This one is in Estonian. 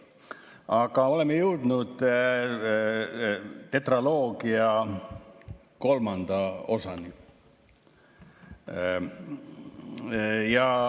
Aga oleme jõudnud tetraloogia kolmanda osani.